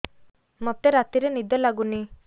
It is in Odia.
ମୋତେ ରାତିରେ ନିଦ ଲାଗୁନି